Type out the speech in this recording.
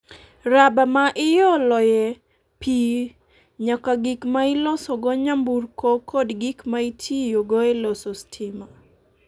raba ma ioloye pi nyaka gik ma ilosogo nyamburko kod gik ma itiyogo e loso stima.